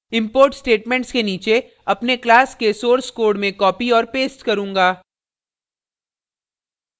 import statements के नीचे अपने class के source कोड में कॉपी औऱ पेस्ट करूँगा